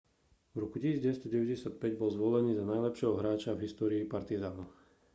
v roku 1995 bol zvolený za najlepšieho hráča v histórii partizanu